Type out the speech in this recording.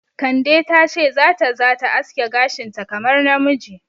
Kande ta ce za ta za ta aske gashinta kamar namiji.